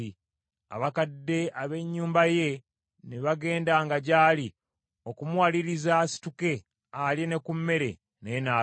Abakadde ab’ennyumba ye ne bagendanga gy’ali, okumuwaliriza asituke, alye ne ku mmere, naye n’agaana.